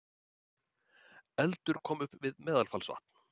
Eldur kom upp við Meðalfellsvatn